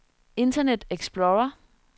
internet explorer